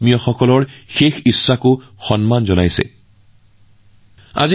আপোনজনৰ শেষ কামনাক সন্মান জনোৱা পৰিয়াল সকলৰো শলাগ লৈছো